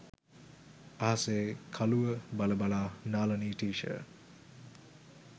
අහසේ කළුව බල බලා නාලනී ටීචර්